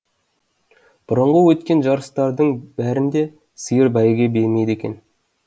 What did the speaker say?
бұрынғы өткен жарыстардың бәрінде сиыр бәйге бермейді екен